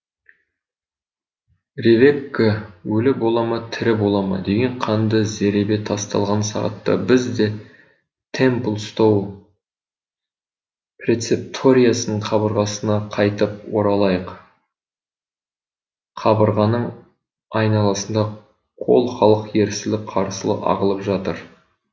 ревекка өлі бола ма тірі бола ма деген қанды зеребе тасталған сағатта біз де темплстоу прецепториясының қабырғасына қайтып оралайық қабырғаның айналасында қол халық ерсілі қарсылы ағылып жатыр